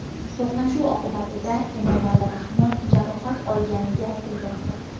To‘qnashuv oqibatida Emomali Rahmon jarohat olmaganligi aytilmoqda.